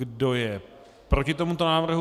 Kdo je proti tomuto návrhu?